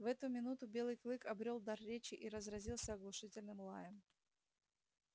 в эту минуту белый клык обрёл дар речи и разразился оглушительным лаем